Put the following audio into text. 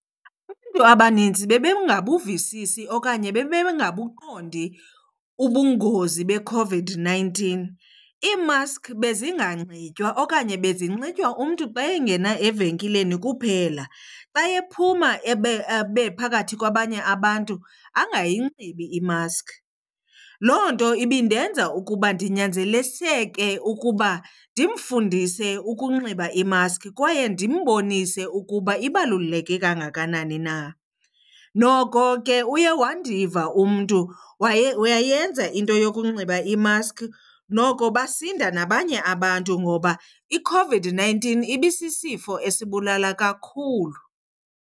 abanintsi bebengabuvisisi okanye bebengabuqondi ubungozi beCOVID-nineteen. Iimaskhi bezinganikwa okanye bezinxitywa umntu xa engena evenkileni kuphela, xa ephuma abe phakathi kwabanye abantu angayinxibi imaskhi. Loo nto ibindenza ukuba ndinyanzeliseke ukuba ndimfundise ukunxiba imaskhi kwaye ndimbonise ukuba ibaluleke kangakanani na. Noko ke uye wandiva umntu wayenza into yokunxiba imaskhi, noko basinda nabanye abantu ngoba iCOVID-nineteen ibisisifo esibulala kakhulu.